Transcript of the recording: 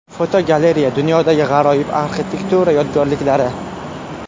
Fotogalereya: Dunyodagi g‘aroyib arxitektura yodgorliklari.